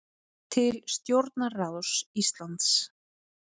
Til stjórnarráðs Íslands